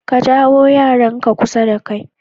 Ka jawo yaranka kusa da kai.